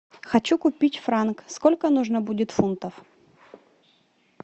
хочу купить франк сколько нужно будет фунтов